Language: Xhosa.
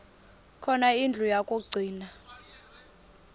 khona indlu yokagcina